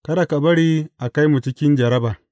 Kada ka bari a kai mu cikin jarraba.’